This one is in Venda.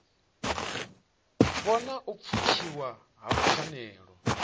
vhona u pfukiwa ha pfanelo